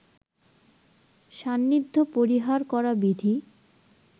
সান্নিধ্য পরিহার করা বিধি